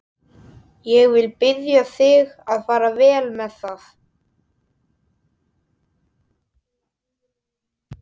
Ég vil biðja þig að fara vel með það.